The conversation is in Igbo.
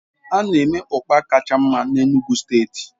A na-eme ọkpa kacha mma na Enugu steeti